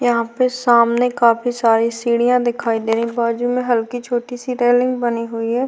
यहां पे सामने काफी सारी सीढ़ियां दिखाई दे रही है बाजू में हल्की छोटी सी रेलिंग बनी हुई है।